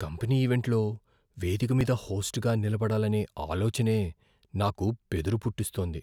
Company ఈవెంట్లో వేదిక మీద హోస్ట్గా నిలబడాలనే ఆలోచనే నాకు బెదురు పుట్టిస్తోంది.